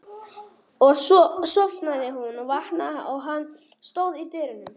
Og svo sofnaði hún og vaknaði og hann stóð í dyrunum.